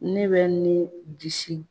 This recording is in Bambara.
Ne bɛ ni disi